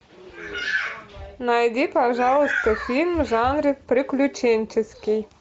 найди пожалуйста фильм в жанре приключенческий